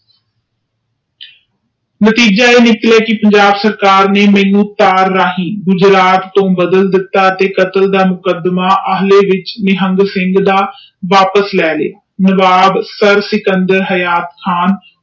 ਤੀਜਾ ਨਿਕਲੇਗੀ ਪੰਜਾਬ ਸਰਕਾਰ ਮਨੁ ਤਾਲ ਰਹੀ ਗੁਝਰਤ ਵਾਲਬਫਾਲ ਦਿਤਾ ਡਟੇ ਮੁਕਦਮਾ ਨਿਹਗਲ ਸਿੰਘ ਦਾ ਵਾਪਿਸ ਲੈ ਲਿਆ ਤੇ ਸਿਕੰਦਰ ਨਿਯੁਯਾਹਨ ਖਾਨ